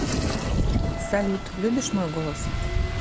салют любишь мой голос